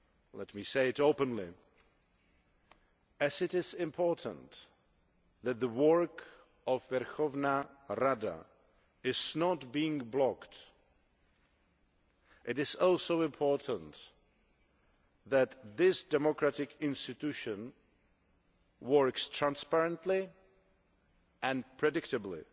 Let me say this openly just as it is important that the work of the Verkhovna Rada is not being blocked, it is also important that this democratic institution works transparently and predictably